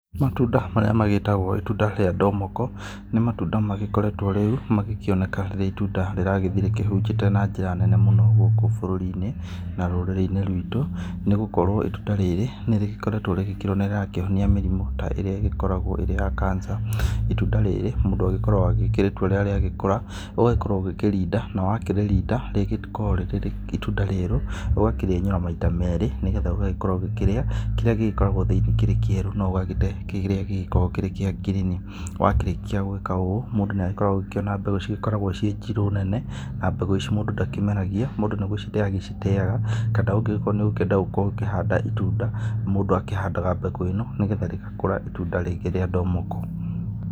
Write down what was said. Matunda maríĩ metagwo itunda rĩa ndomoko nĩ matunda magĩkoretwo rĩu magĩkĩoneka rĩrĩ itunda rĩragĩthiĩ rĩkĩhunjĩte na njĩra nene mũno gũkũ bũrũri-inĩ na rũrĩrĩ-inĩ rwitũ nĩgũkorwo itunda rĩrĩ nĩ rĩgĩkoretwo rĩgĩkĩrwo nĩ rĩrakĩhonia mĩrimũ ta ĩrĩa igĩkoragwo ĩrĩ ya Cancer ,itunda rĩrĩ mũndũ agĩkoragwo akĩrĩtua rĩrĩa rĩa kũra ũgagĩkorwo ũkĩrĩrinda na wakĩrĩrĩnda rĩkoragwo rĩrĩ itunda rĩerũ ũgakĩrĩenyũra maita merĩ nĩgetha ũgagĩkorwo ũgĩkĩrĩa kĩrĩa gĩkoragwo thĩinĩ kĩrĩ kĩerũ na ũgagĩte kĩrĩa gĩkoragwo gĩkĩrĩ kĩa ngirini, wakĩrĩkia gwĩka ũũ mũndũ nĩ agĩkoragwo akĩona mbegũ cigĩkoragwo njirũ nene na mbegũ ici mũndũ ndakĩmeragia mũndũ nĩ gũcite aciteaga kana ũngĩkorwo nĩ ũkwenda gũkorwo ũkĩhanda itunda mũndũ akĩhandaga mbegũ ĩno nĩgetha rĩgakũra itunda rĩngĩ rĩa ndomoko.